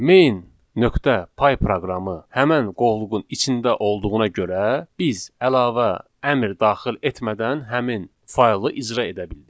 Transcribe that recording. Main.py proqramı həmin qovluğun içində olduğuna görə biz əlavə əmr daxil etmədən həmin faylı icra edə bildik.